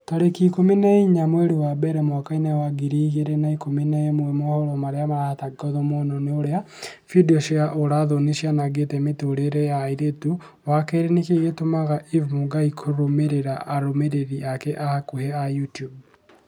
tarĩki ikũmi na inya mweri wa mbere mwaka wa ngiri igĩrĩ na ikũmi na ĩmwe mohoro marĩa maratangatwo mũno ni ũrĩa findio cia ũũra-thoni cianangĩte mĩtũrĩre ya airĩtu wa kerĩ nĩkĩĩ gĩtũmaga eve mũngai kũrũmĩrĩra arũmĩrĩri ake a hakuhi a YouTUBE